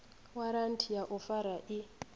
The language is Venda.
waranthi ya u fara i